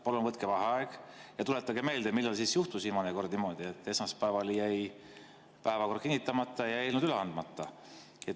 Palun võtke vaheaeg ja tuletage meelde, millal juhtus viimane kord niimoodi, et esmaspäeval jäi päevakord kinnitamata ja eelnõud üle andmata.